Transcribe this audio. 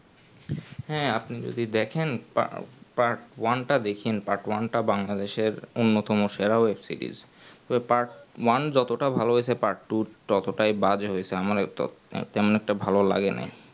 হ্যাঁ আপনি যদি দেখেন পা part-one তা দেখিয়েন part-one টা Bangladesh এর উন্নত সেরা web-series ওর part-one যযতটা ভালো হয়েছে part-two তত তা বাজে হয়েছে আমার তো তেমনি অটো ভালো লাগিনি